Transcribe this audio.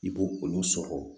I b'o olu sɔgɔ